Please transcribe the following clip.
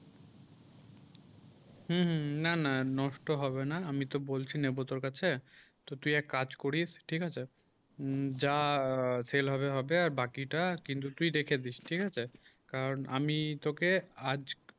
হুম হুম না না নষ্ট হবে না আমি তো বলছি নেবো তোর কাছে তো তুই এক কাজ করিস ঠিক আছে যা সেল হবে হবে আর বাকি তা কিন্তু তুই রেখে দিস ঠিক আছে কারন আমি তোকে আজ